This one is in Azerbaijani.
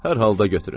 Hər halda götürün.